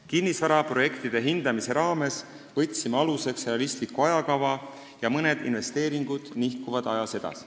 Kinnisvaraprojektide hindamise raames võtsime aluseks realistliku ajakava ja mõned investeeringud nihkuvad ajas edasi.